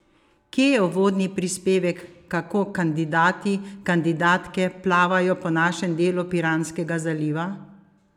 Kje je uvodni prispevek kako kandidati, kandidatke plavajo po našem delu Piranskega zaliva?